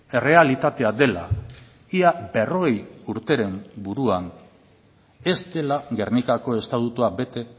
errealitatea dela ia berrogei urteren buruan ez dela gernikako estatutua bete